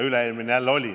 Üle-eelmine jälle oli.